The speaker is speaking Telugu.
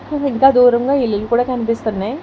ఇంకా దూరంగా ఇల్లు కూడా కనిపిస్తున్నాయి.